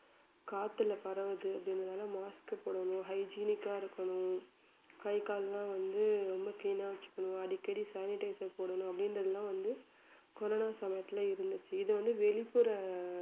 காத்துல பரவுது அப்படின்றதால mask போடணும் hygienic ஆ இருக்கணும் கை கால்லாம் வந்து ரொம்ப clean ஆ வச்சுக்கணும் அடிக்கடி sanitizer போடணும் அப்படின்றதெல்லாம் வந்து கொரோனா சமயத்தில இருந்துச்சு இது வந்து வெளிப்புற